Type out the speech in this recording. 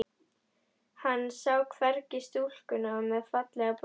Hann sá hvergi stúlkuna með fallega brosið.